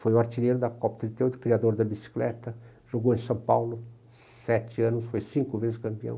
Foi o artilheiro da Copa trinta e oito, criador da bicicleta, jogou em São Paulo sete anos, foi cinco vezes campeão.